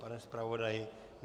Pane zpravodaji?